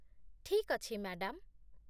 ଠିକ୍ ଅଛି, ମ୍ୟାଡାମ୍